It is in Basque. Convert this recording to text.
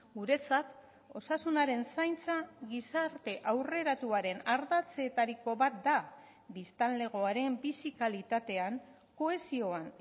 guretzat osasunaren zaintza gizarte aurreratuaren ardatzetariko bat da biztanlegoaren bizi kalitatean kohesioan